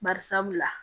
Bari sabula